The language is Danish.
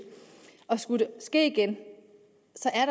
skulle det ske igen